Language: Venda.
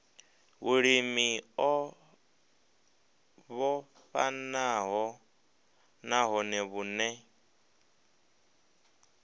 vhulimi o vhofhanaho nahone vhune